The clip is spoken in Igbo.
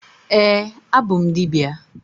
Ee, abụ m dibịa.